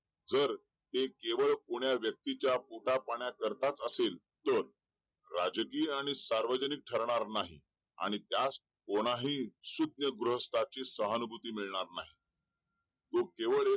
जर ते केवळ कोण्या व्यक्तीच्या पोटापाण्याकरताच असेल तर राजकीय आणि सार्वजनिक ठरणार नाही आणि त्यास कोण्याही शुद्न्य गहृहस्ताची सहानुभूती मिळणार नाही तो केवळ एक